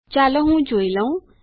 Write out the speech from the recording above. ચાલો હું જોઈ લઉં